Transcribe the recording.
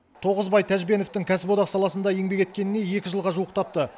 тоғызбай тәжбеновтің кәсіподақ саласында еңбек еткеніне екі жылға жуықтапты